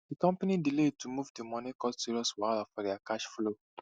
di company delay to move di money cause serious wahala for their cash flow